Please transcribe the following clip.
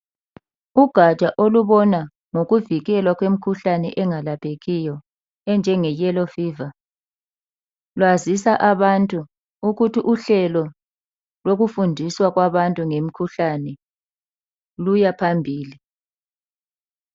Ugatsha olubona ngokuvikelwa kwemkhuhlane engalaphekiyo enjenge yellow fever lwazisa abantu ukuthi uhlelo lokufundiswa kwabantu ngemikhuhlane luyaphambili